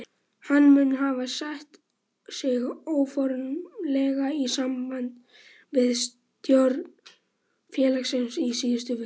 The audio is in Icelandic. Hann mun hafa sett sig óformlega í samband við stjórn félagsins í síðustu viku.